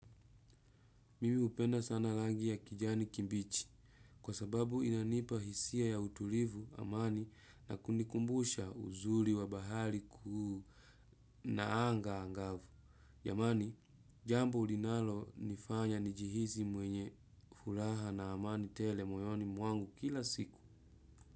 Mimi hupenda sana rangi ya kijani kibichi kwa sababu inanipa hisia ya utulivu na amani na kunikumbusha uzuri wa bahari kuu na anga kavu jamani jambo linalo nifanya nijihisi mwenye furaha na amani tele moyoni mwangu kila siku.